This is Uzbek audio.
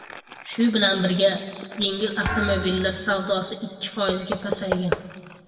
Shu bilan birga, yengil avtomobillar savdosi ikki foizga pasaygan.